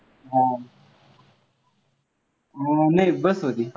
नाही bus मध्ये